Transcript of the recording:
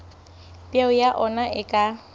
peo ya ona e ka